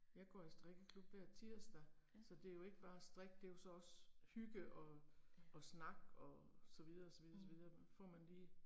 Jeg går i strikkeklub hver tirsdag, så det er jo ikke bare strik, det er jo så også hygge og og snak og så videre, så videre, så videre så får man lige